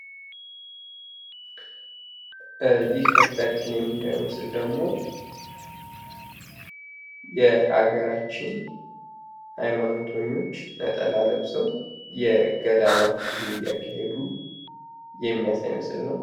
ይህ ከፊታችን የምናየው ምስል ደግሞ የሀገራችን ሃይማኖተኞች ነጠላ ለብሰው የገዳማት ጉዞ እያካሄዱ የሚያሳይ ምስል ነው።